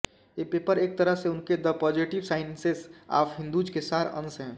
ये पेपर एक तरह से उनके the positive sciences of Hindus के सार अंश हैं